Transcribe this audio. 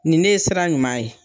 Nin ne ye sira ɲuman ye.